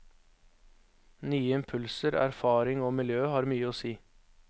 Nye impulser, erfaring og miljø, har mye å si.